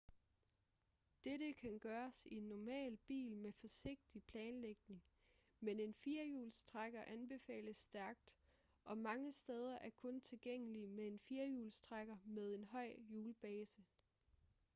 dette kan gøres i en normal bil med forsigtig planlægning men en firhjulstrækker anbefales stærkt og mange steder er kun tilgængelige med en firhjulstrækker med en høj hjulbase